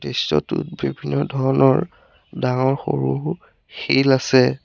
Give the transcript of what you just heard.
দৃশ্যটোত বিভিন্ন ধৰণৰ ডাঙৰ সৰু শিল আছে।